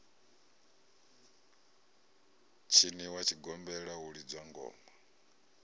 tshiniwa tshigombela hu lidzwa ngoma